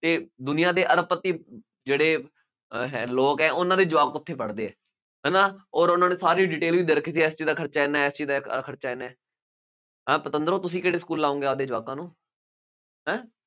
ਕਿ ਦੁਨੀਆ ਦੇ ਅਰਬਪਤੀ ਜਿਹੜੇ ਹੈ ਲੋਕ ਹੈ ਉਹਨਾ ਦੇ ਜਵਾਕ ਉੱਥੇ ਪੜ੍ਹਦੇ ਹੈ, ਹੈ ਨਾ, ਅੋਰ ਉਹਨਾ ਨੇ ਸਾਰੀ detail ਵੀ ਦੇ ਰੱਖੀ ਸੀ ਇਸ ਚੀਜ਼ ਦਾ ਖਰਚਾ ਐਨਾ, ਇਸ ਚੀਜ਼ ਦਾ ਆਹ ਆਹ ਖਰਚਾ ਐਨਾ, ਹਾਂ ਪਤੰਦਰੋਂ ਤੁਸੀਂ ਕਿਹੜੇ ਸਕੂਲ ਲਾਉਗੇ ਆਪਣੇ ਜਵਾਕਾਂ ਨੂੰ, ਹਾਂ